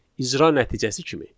İcra nəticəsi kimi.